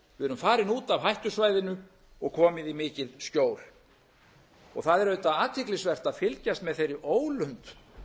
farin út af hættusvæðinu og komið í mikið skjól það er auðvitað athyglisvert að fylgjast með þeirri ólund